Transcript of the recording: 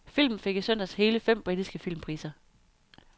Filmen fik i søndags hele fem britiske filmpriser.